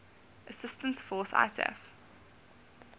assistance force isaf